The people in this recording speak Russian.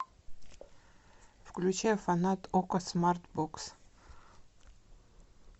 включай фанат окко смарт бокс